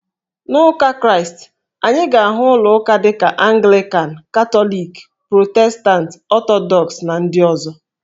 N'Ụka Kraịst, anyị ga-ahụ ụlọ uka dị ka Anglịkan, Katọlikị, Protestantị, Ọtọdọks, na ndị ọzọ